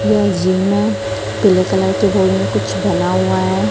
यह जिम है पीले कलर के कुछ बना हुआ है।